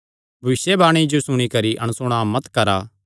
भविष्यवाणियां जो सुणी करी अणसुणा मत करा